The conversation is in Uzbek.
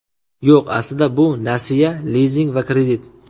Yo‘q, aslida bu nasiya, lizing va kredit!